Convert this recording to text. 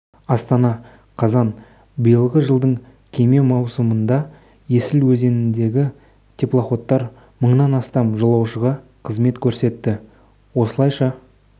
астана қазан биылғы жылдың кеме маусымында есіл өзеніндегі теплоходтар мыңнан астам жолаушыға қызмет көрсетті осылайша